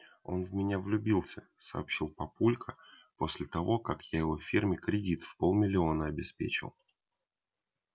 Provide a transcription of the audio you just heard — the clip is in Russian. он в меня влюбился сообщил папулька после того как я его фирме кредит в полмиллиона обеспечил